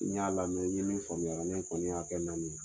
N y'a lamɛn n ye min faamuya a la ne kɔni y'a kɛ naani ye.